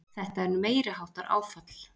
Þetta er meiriháttar áfall!